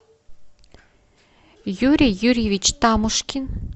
юрий юрьевич тамушкин